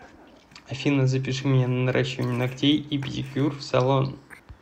афина запиши меня на наращивание ногтей и педикюр в салон